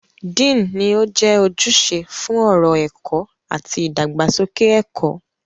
Dean ni ó jẹ́ ojúṣe fún ọ̀rọ̀ ẹ̀kọ́ àti ìdàgbàsókè ẹ̀kọ́.